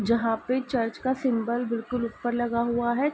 जहाँ पे चर्च का सिम्बल बिलकुल ऊपर लगा हुआ है।